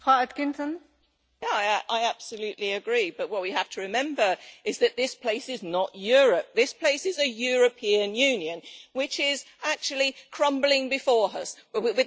Yes, I absolutely agree, but what we have to remember is that this place is not Europe this place is a European Union which is actually crumbling before us with the populace.